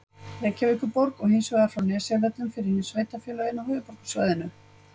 Reykjavíkurborg og hins vegar frá Nesjavöllum fyrir hin sveitarfélögin á höfuðborgarsvæðinu.